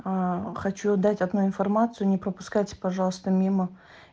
аа хочу дать одну информацию не пропускайте пожалуйста мимо